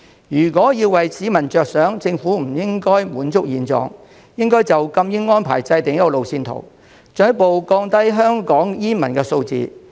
如果為市民着想，政府不應滿足於現狀，應就禁煙安排制訂路線圖，進一步降低香港煙民的數字。